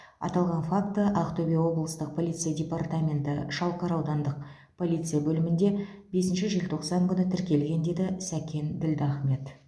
аталған факті ақтөбе облыстық полиция департаменті шалқар аудандық полиция бөлімінде бесінші желтоқсан күні тіркелген деді сәкен ділдахмет